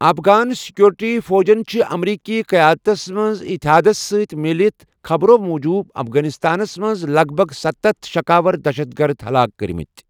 افغان security فوجَن چھِ امریکی قیادتس منز اتحادس سۭتۍ میلِتھ خبرو٘ موجوُب افغانستانَس منٛز لَگ بَھگ سَتتھَ شکاور دہشت گرد ہلاک کرِمٕتۍ ۔